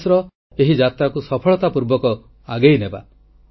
2019ର ଏହି ଯାତ୍ରାକୁ ସଫଳତା ପୂର୍ବକ ଆଗେଇନେବା